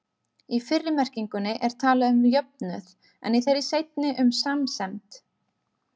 Í fyrri merkingunni er talað um jöfnuð, en í þeirri seinni um samsemd.